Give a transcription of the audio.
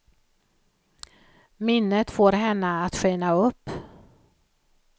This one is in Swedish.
Minnet får henne att skina upp.